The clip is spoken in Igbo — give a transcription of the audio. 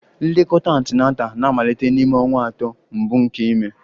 Nlekọta Antenatal na-amalite n'ime ọnwa atọ mbụ nke ime